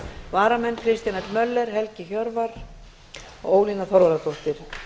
varamenn eru kristján l möller helgi hjörvar og ólína þorvarðardóttir